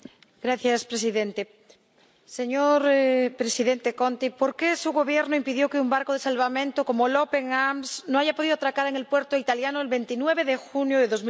Señor presidente. Señor presidente Conte, ¿por qué su Gobierno impidió que un barco de salvamento como el Open Arms haya podido atracar en el puerto italiano el 29 de junio de